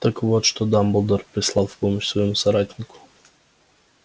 так вот что дамблдор прислал в помощь своему соратнику